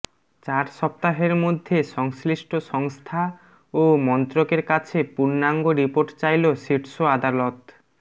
চার সপ্তাহের মধ্যে সংশ্লিষ্ট সংস্থা ও মন্ত্রকের কাছে পূর্ণাঙ্গ রিপোর্ট চাইল শীর্ষ আদালত